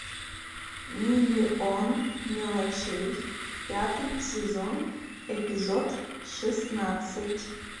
миллион мелочей пятый сезон эпизод шестнадцать